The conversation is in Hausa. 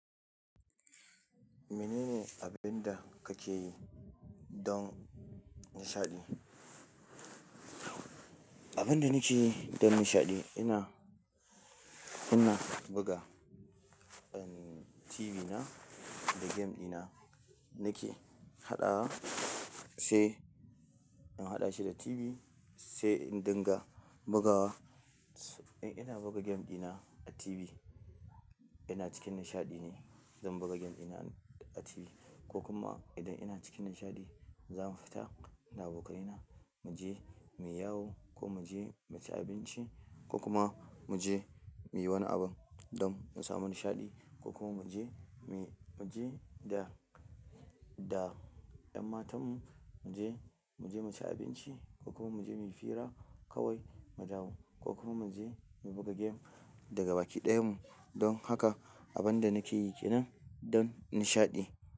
Mene ne abin da kake yi don nishaɗi? Abin da nake yi don nishaɗi, ina, ina buga, en, TV na da game dina. Nake haɗawa, sai in haɗa shi da TV, sai in dinga bugawa. In ina buga game dina a TV, ina cikin nishaɗi ne, zan buga game dina a TV ko kuma idan ina cikin nishaɗi, za mu fita da abokana mu je mu yi yawo ko mu je mu ci abinci ko kuma mu je mu yi wani abun don mu samu nishaɗi ko kuma mu je, mu je da, da ƴan matan mu, mu je, mu je mu ci abinci ko kuma mu je mu yi fira kawai, mu dawo ko kuma mu je mu buga game daga baki ɗayan mu. Don haka abin da nake yi kenan don nishaɗi.